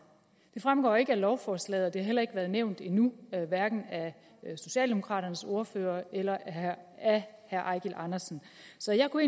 det fremgår ikke af lovforslaget og det har heller ikke været nævnt endnu af socialdemokraternes ordfører eller af herre eigil andersen så jeg kunne